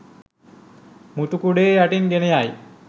මුතු කුඩය යටින් ගෙන යයි.